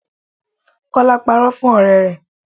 Kola parọ́ fún ọ̀rẹ́ rẹ̀